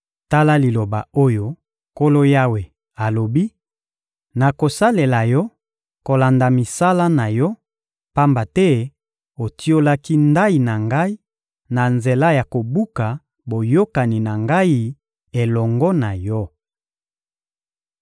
Tala liloba oyo Nkolo Yawe alobi: Nakosalela yo kolanda misala na yo, pamba te otiolaki ndayi na Ngai na nzela ya kobuka boyokani na Ngai elongo na yo.